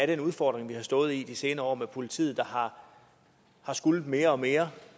den udfordring vi har stået med i de senere år med politiet der har skullet mere og mere